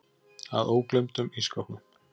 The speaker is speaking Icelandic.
Að ógleymdum ísskápnum.